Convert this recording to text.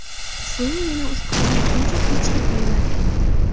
So‘ng yana usti qizarguncha pechga qo‘yiladi.